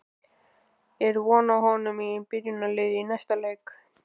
Er von á honum í byrjunarliðinu í næsta leik?